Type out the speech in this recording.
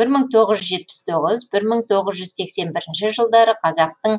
бір мың тоғыз жүз жетпіс тоғыз бір мың тоғыз жүз сексен бірінші жылдары қазақтың